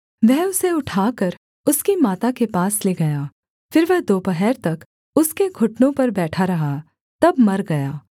वह उसे उठाकर उसकी माता के पास ले गया फिर वह दोपहर तक उसके घुटनों पर बैठा रहा तब मर गया